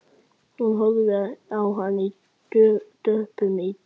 Hún horfði á hann döpur í bragði.